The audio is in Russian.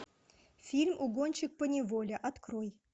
фильм угонщик поневоле открой